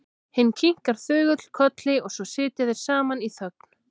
Hinn kinkar þögull kolli og svo sitja þeir saman í þögn.